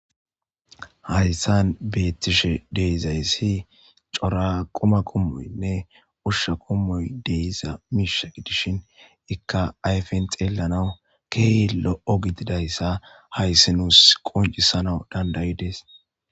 Hayssan beetishe de7izayssi cora quma qommonne ushsha qommoy de7ishi izakki be7ishin aypes keehipe lo7izayssa hayssi nuus qoncissanas dandda7ides.